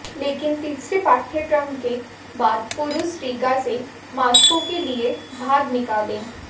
लेकिन तीसरे पाठ्यक्रम के बाद पुरुष रीगा से मॉस्को के लिए भाग निकले